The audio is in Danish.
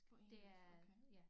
På engelsk okay